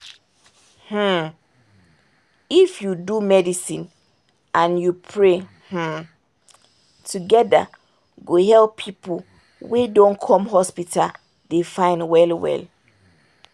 hmm! if you do medicine and you pray hmm! together go help people wen dey come hospital dey fine well well